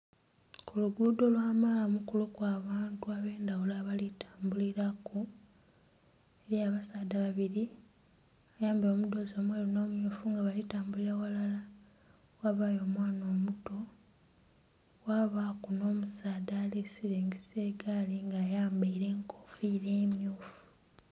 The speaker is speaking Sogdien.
Ku luguudo lwa malamu kuliku abantu ab'endhagulo abali tambuliraku. Eliyo abasaadha babili abambaile omudhoozi omweru nh'omumyufu nga bali tambulira ghalala, ghabayo omwana omuto. Kwabaaku nh'omusaadha ali silingisa egaali nga ayambaile enkofiira emmyufu.